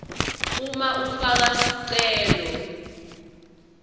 uma ufaka sicelo